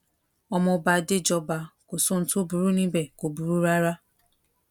ọmọọba adéjọba kò sóhun tó burú níbẹ̀ kò burú rárá